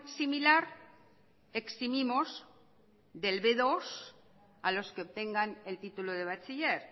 similar eximimos del bmenos dos a los que obtengan el título del bachiller